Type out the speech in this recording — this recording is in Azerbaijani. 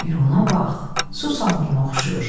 Bir ona bax, su samuruna oxşayır.